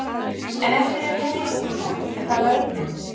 En ef þeir eru með veikleika er það vörnin.